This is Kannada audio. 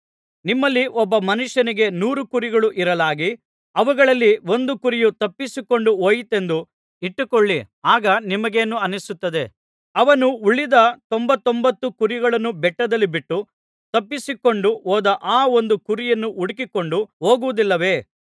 ನಿಮ್ಮಲ್ಲಿ ಒಬ್ಬ ಮನುಷ್ಯನಿಗೆ ನೂರು ಕುರಿಗಳು ಇರಲಾಗಿ ಅವುಗಳಲ್ಲಿ ಒಂದು ಕುರಿಯು ತಪ್ಪಿಸಿಕೊಂಡು ಹೋಯಿತೆಂದು ಇಟ್ಟುಕೊಳ್ಳಿ ಆಗ ನಿಮಗೇನು ಅನ್ನಿಸುತ್ತದೆ ಅವನು ಉಳಿದ ತೊಂಬತ್ತೊಂಬತ್ತು ಕುರಿಗಳನ್ನು ಬೆಟ್ಟದಲ್ಲಿ ಬಿಟ್ಟು ತಪ್ಪಿಸಿಕೊಂಡು ಹೋದ ಆ ಒಂದು ಕುರಿಯನ್ನು ಹುಡುಕಿಕೊಂಡು ಹೋಗುವುದಿಲ್ಲವೇ